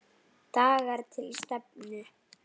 DAGAR TIL STEFNU.